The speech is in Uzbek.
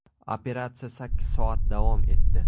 Operatsiya sakkiz soat davom etdi.